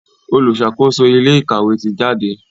oluṣakoso ilé ìkàwé tí jáde.